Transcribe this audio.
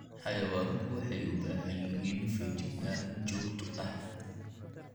Xayawaanku waxay u baahan yihiin feejignaan joogto ah.